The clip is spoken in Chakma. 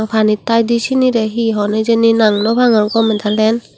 panit taidi sinire hi hon hijeni nang nw pangor gome dalen.